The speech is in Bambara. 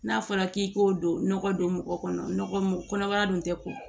N'a fɔra k'i k'o don nɔgɔ don mɔgɔ kɔnɔ nɔgɔ mun kɔnɔbara dun tɛ ko